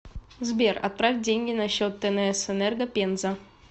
сбер отправь деньги на счет тнс энерго пенза